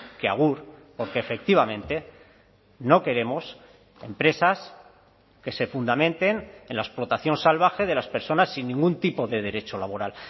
que agur porque efectivamente no queremos empresas que se fundamenten en la explotación salvaje de las personas sin ningún tipo de derecho laboral